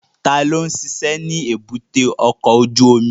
Ta ló ń ṣiṣẹ́ ní èbúté ọkọ̀ ojú omi?